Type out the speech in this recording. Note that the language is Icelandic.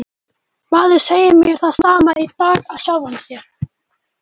Maður segir mér það sama í dag af sjálfum sér.